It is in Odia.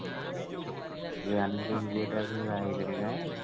ଏଇ ଆମ ସହିତ ଯଉ ଝିଅ ଟା ଏବେ ବାହା ହେଇଗଲାଣି ନା?